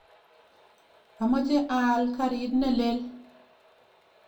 Amache aal karit ne lel.